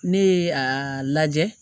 Ne ye a lajɛ